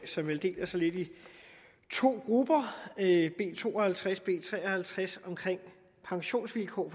som vel deler sig lidt i to grupper b to og halvtreds og b tre og halvtreds om pensionsvilkår